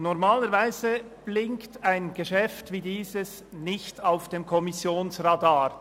Normalerweise erscheint ein Geschäft wie dieses nicht auf dem Kommissionsradar.